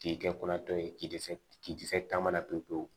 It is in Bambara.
K'i kɛ kɔnɔ tɔ ye k'i dɛsɛ k'i dɛsɛ taamana pewu pewu